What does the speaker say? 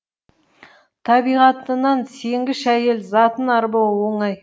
табиғатынан сенгіш әйел затын арбау оңай